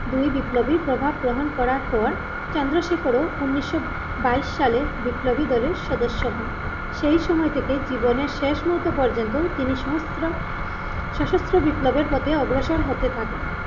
দুই বিপ্লবী প্রভাব গ্রহণ করার পর চন্দ্রশেখর ও উনিশশো বাইশ সালের বিপ্লবী দলের সদস্য হন সেই সময় থেকে জীবনের শেষ মুহূর্ত পর্যন্ত তিনি সমস্ত সশস্ত্র বিপ্লবের পথে অগ্রসর হতে থাকে।